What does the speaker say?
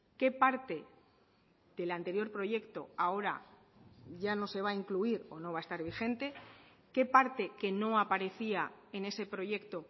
qué parte del anterior proyecto ahora ya no se va a incluir o no va a estar vigente qué parte que no aparecía en ese proyecto